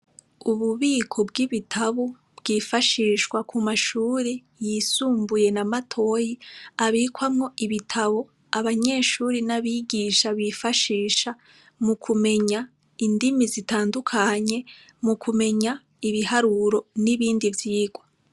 Ububiko bw'ibitabu bwifashishwa ku mashuri yisumbuye na matoyi, abikwamwo ibitabo abanyeshuri n'abigisha bifashisha mu kumenya indimi zitandukanye, mu kumenya ibiharuro n'ibindi vyigwa.